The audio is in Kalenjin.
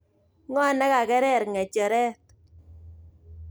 Ngo' nekakerer nge'cheret